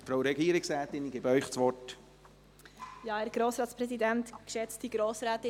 Frau Regierungsrätin, ich gebe Ihnen das Wort.